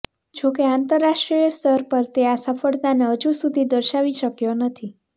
જોકે આંતરરાષ્ટ્રીય સ્તર પર તે આ સફળતાને હજુ સુધી દર્શાવી શક્યો નથી